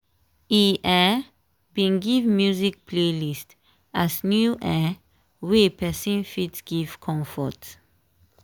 e um bin give music playlist as new um way person fit give comfort.